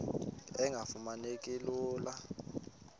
engafuma neki lula